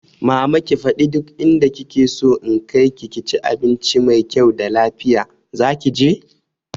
Mama ki fada duk inda kike so na kaiki ki ci abincin mai kyau da lafiya, zaki je?